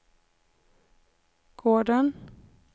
gården